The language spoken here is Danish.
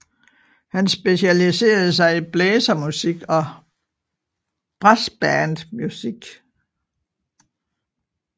Han specialiserede sig i blæsermusik og brassbandmusik